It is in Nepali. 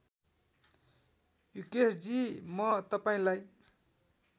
युकेशजी म तपाईँलाई